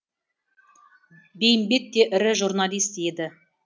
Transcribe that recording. бейімбет те ірі журналист еді